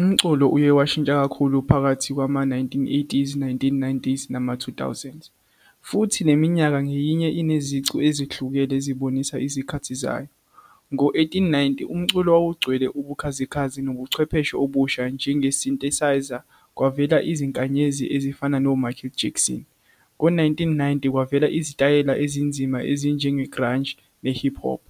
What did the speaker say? Umculo uye washintsha kakhulu phakathi kwama-nineteen eighties, nineteen nineties, nama-two thousands. Futhi neminyaka ngeyinye inezicu ezihlukene ezibonisa izikhathi zayo. Ngo-eighteen ninety, umculo wawugcwele ubukhazikhazi, nobuchwepheshe obusha, njenge-synthesizer, kwavela izinkanyezi ezifana no-Michael Jackson. Ngo-nineteen ninety, kwavela izitayela ezinzima ezinjenge-grunge, ne-hip hop,